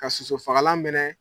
Ka soso fagalan mɛnɛ